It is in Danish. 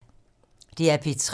DR P3